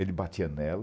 Ele batia nela.